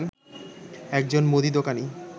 একজন মুদিদোকানি